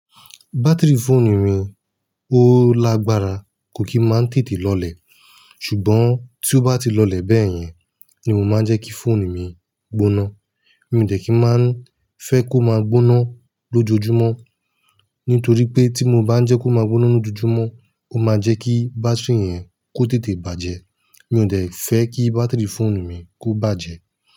Batiri fóònù mi ó lágbára, kó kí máa ń tètè lọlẹ̀. Ṣùgbọ́n tí ó bá ti lọlẹ̀ bẹ́ẹ̀ yẹn, ni mo máa ń jẹ́ kí fóònù mi gboná. Mi ò dẹ̀ kí máa ń fẹ́ kó máa gboná lójoojúmọ́. Nítorí pé, tí mo bá ń jẹ́ kó máa gboná lójoojúmọ́, ó máa jẹ́ kí bátírì yẹn kó tètè bàjẹ́. Mi ò dẹ fẹ́ kí bátìrì fóònù mi kó bàjẹ́.